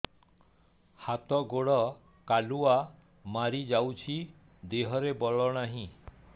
ହାତ ଗୋଡ଼ କାଲୁଆ ମାରି ଯାଉଛି ଦେହରେ ବଳ ନାହିଁ